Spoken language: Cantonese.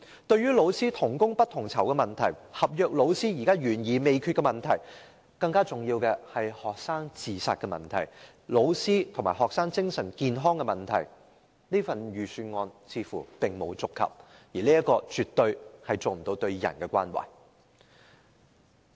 對於老師同工不同酬的問題、合約老師懸而未決的問題，以及更重要的學生自殺問題、老師和學生精神健康的問題，預算案似乎並沒有觸及，絕對沒有展現對人的關懷。